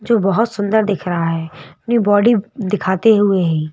जो बहुत सुंदर दिख रहा है अपनी बॉडी दिखाते हुए ही।